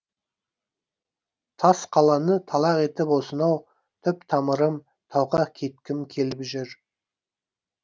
тас қаланы талақ етіп осынау түп тамырым тауға кеткім келіп жүр